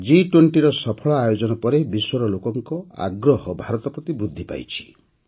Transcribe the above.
ଜି୨୦ ର ସଫଳ ଆୟୋଜନ ପରେ ବିଶ୍ୱର ଲୋକଙ୍କ ଆଗ୍ରହ ଭାରତ ପ୍ରତି ବୃଦ୍ଧି ପାଇଛି